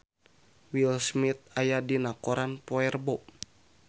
Will Smith aya dina koran poe Rebo